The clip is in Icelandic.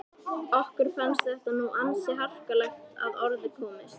Okkur fannst þetta nú ansi harkalega að orði komist.